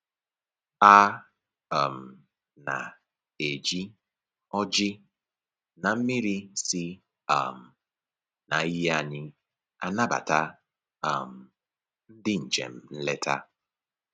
A um na-eji ọjị na mmiri si um na iyi anyị anabata um ndị njem nleta